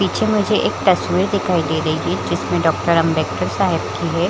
पीछे मुझे एक तस्वीर दिखाई दे रही है जिसमें डॉक्टर अंबेडकर साहेब की है ।